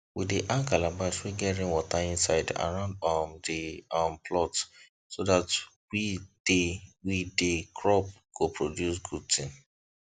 we dey hang calabash wey get rainwater inside around um the um plot so that we the we the crop go produce good thing